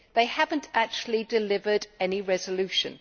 They have not actually delivered any resolution.